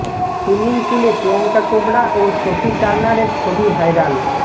swimming পুলে প্রিয়াঙ্কা চোপড়া ও Sophie টার্নারের ছবি ভাইরাল